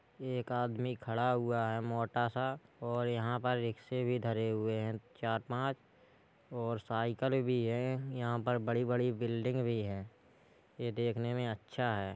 एक आदमी खड़ा हुआ है मोटा सा और यहां पर रिक्शे भी धरे हुए हैं चार पाँच और साइकल भी है। यहां पर बड़ी-बड़ी बिल्डिंग भी है ये देखने में अच्छा है।